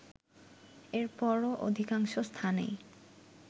এরপরও অধিকাংশ স্থানেই